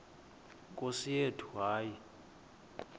nkosi yethu hayi